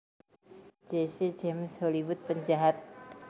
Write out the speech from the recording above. Jesse James Hollywood penjahat